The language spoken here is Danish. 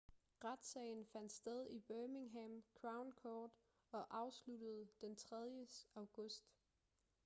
retssagen fandt sted i birmingham crown court og afsluttede den 3. august